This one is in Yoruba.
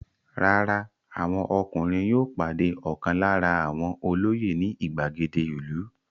Rárá, àwọn ọkùnrin yóò pàdé ọ̀kan lára àwọn olóyè ní ìgbàgede ìlú.